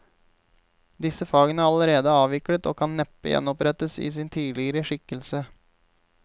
Disse fagene er allerede avviklet og kan neppe gjenopprettes i sin tidligere skikkelse.